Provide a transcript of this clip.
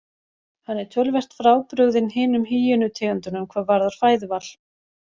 Hann er töluvert frábrugðinn hinum hýenu tegundunum hvað varðar fæðuval.